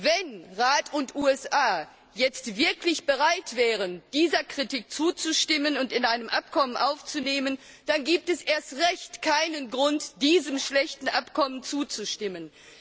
Wenn Rat und USA jetzt wirklich bereit wären, dieser Kritik zuzustimmen und sie in ein Abkommen aufzunehmen, dann gäbe es erst recht keinen Grund, diesem schlechten Abkommen zuzustimmen.